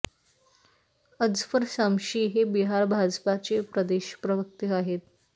अजफर शमशी हे बिहार भाजपाचे प्रदेश प्रवक्ते आहेत